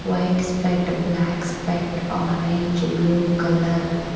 White spot black spot orange blue colour .